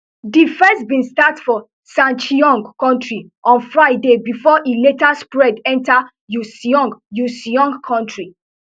di first bin start for sancheong county on friday bifor e later spread enta uiseong uiseong county